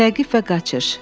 Təqib və qaçış.